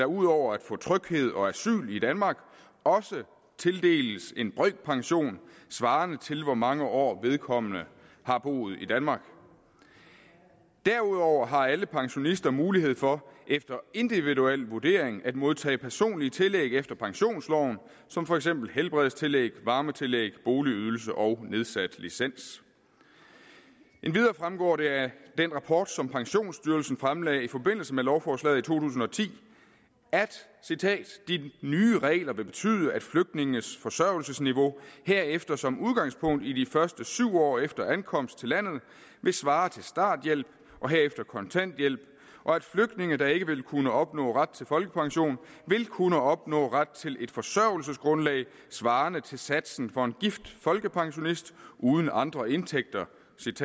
ud over at få tryghed og asyl i danmark også tildeles en brøkpension svarende til hvor mange år vedkommende har boet i danmark derudover har alle pensionister mulighed for efter individuel vurdering at modtage personlige tillæg efter pensionsloven som for eksempel helbredstillæg varmetillæg boligydelse og nedsat licens endvidere fremgår det af den rapport som pensionsstyrelsen fremlagde i forbindelse med lovforslaget i to tusind og ti at de nye regler vil betyde at flygtninges forsørgelsesniveau herefter som udgangspunkt i de første syv år efter ankomst til landet vil svare til starthjælp og herefter kontanthjælp og at flygtninge der ikke vil kunne opnå ret til folkepension vil kunne opnå ret til et forsørgelsesgrundlag svarende til satsen for en gift folkepensionist uden andre indtægter